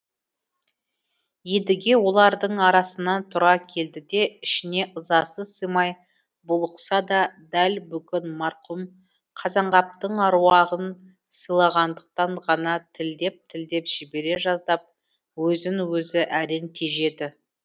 едіге олардың арасынан тұра келді де ішіне ызасы сыймай булықса да дәл бүгін марқұм қазанғаптың аруағын сыйлағандықтан ғана тілдеп тілдеп жібере жаздап өзін өзі әрең тежеді